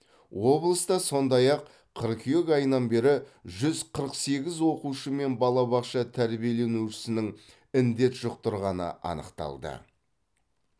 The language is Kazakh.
облыста сондай ақ қыркүйек айынан бері жүз қырық сегіз оқушы мен балабақша тәрбиеленушісінің індет жұқтырғаны анықталды